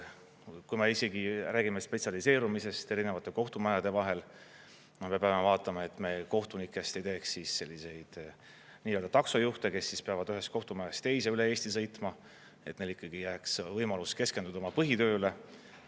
Kui me isegi räägime spetsialiseerumisest erinevate kohtumajade vahel, aga me peame vaatama, et me kohtunikest ei teeks selliseid nii-öelda taksojuhte, kes peavad ühest kohtumajast teise üle Eesti sõitma, et neil ikkagi jääks võimalus keskenduda oma põhitööle.